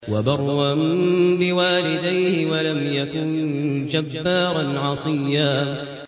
وَبَرًّا بِوَالِدَيْهِ وَلَمْ يَكُن جَبَّارًا عَصِيًّا